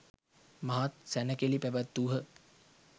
මහත් සැණකෙළි පැවැත්වූහ.